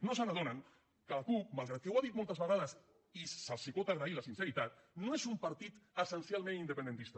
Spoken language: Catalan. no s’adonen que la cup malgrat que ho ha dit moltes vegades i se’ls pot agrair la sinceritat no és un partit essencialment independentista